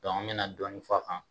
an bɛna dɔɔnin fɔ a kan